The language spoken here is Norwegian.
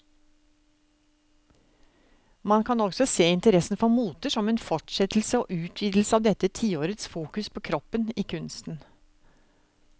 Man kan også se interessen for moter som en fortsettelse og utvidelse av dette tiårets fokus på kroppen i kunsten.